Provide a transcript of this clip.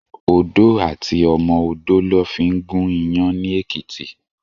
Odó àti ọmọ odó lò fin gún iyàn ni Ekiti